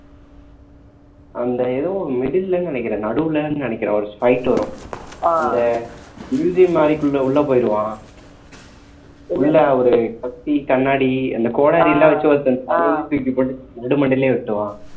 அந்த ஏதோ middle ல நினைக்கிறேன் நடுவுல நினைக்கிறேன் ஒரு fight வரும் அந்த மாறிக்குள்ள உள்ள போயிடுவான் உள்ள ஒரு கத்தி கண்ணாடி அந்த கோடாரி எல்லாம் வச்சு ஒருத்தனை தலையிலேயே தூக்கி போட்டு நடுமண்டையிலேயே வெட்டுவான்